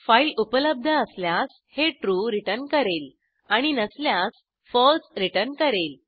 file उपलब्ध असल्यास हे ट्रू रिटर्न करेल आणि नसल्यास फळसे रिटर्न करेल